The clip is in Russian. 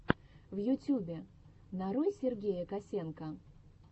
в ютубе нарой сергея косенко